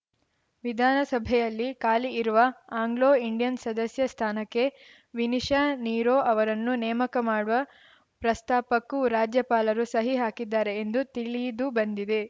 ವಿಧಾನಸಭೆಯಲ್ಲಿ ಖಾಲಿ ಇರುವ ಆಂಗ್ಲೋ ಇಂಡಿಯನ್‌ ಸದಸ್ಯ ಸ್ಥಾನಕ್ಕೆ ವಿನಿಶಾ ನೀರೋ ಅವರನ್ನು ನೇಮಕ ಮಾಡುವ ಪ್ರಸ್ತಾಪಕ್ಕೂ ರಾಜ್ಯಪಾಲರು ಸಹಿ ಹಾಕಿದ್ದಾರೆ ಎಂದು ತಿಳಿದುಬಂದಿದೆ